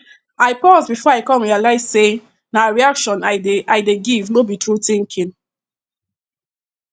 i pause before i reply come realize say na reaction i dey i dey give no be true thinking